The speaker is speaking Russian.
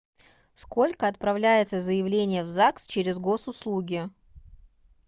сколько отправляется заявление в загс через госуслуги